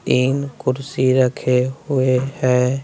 तीन कुर्सी रखे हुए हैं।